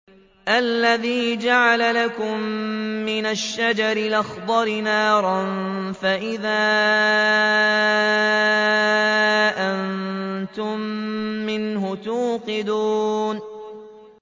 الَّذِي جَعَلَ لَكُم مِّنَ الشَّجَرِ الْأَخْضَرِ نَارًا فَإِذَا أَنتُم مِّنْهُ تُوقِدُونَ